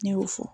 Ne y'o fɔ